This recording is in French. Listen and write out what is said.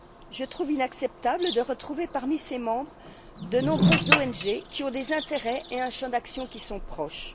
Je trouve inacceptable de retrouver parmi ces membres de nombreuses ONG qui ont des intérêts et un champ d'action qui sont proches.